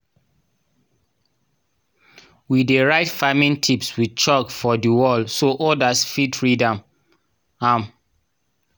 we dey write farming tips with chalk for di wall so odas fit read am. am.